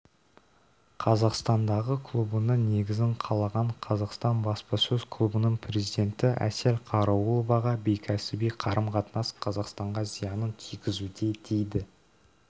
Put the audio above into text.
қазақстандағы клубының негізін қалаған қазақстан баспасөз клубының президенті әсел қараулова ға бейкәсіби қарым-қатынас қазақстанға зиянын тигізуде дейді